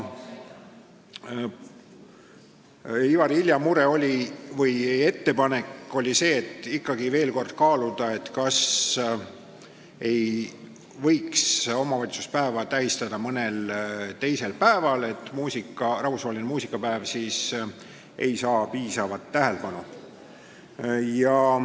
Ivari Ilja ettepanek oli see, et tuleks ikkagi veel kord kaaluda, kas ei võiks omavalitsuspäeva tähistada mõnel teisel päeval, kuivõrd rahvusvaheline muusikapäev ei saa piisavat tähelepanu.